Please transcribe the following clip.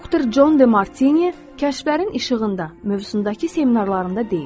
Doktor Jon De Martini kəşflərin işığında mövzusundakı seminarlarında deyir: